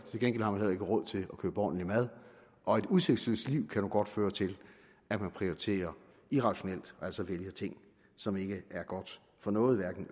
til gengæld har man heller ikke råd til at købe ordentlig mad og et udsigtsløst liv kan nu godt føre til at man prioriterer irrationelt og altså vælger ting som ikke er godt for noget hverken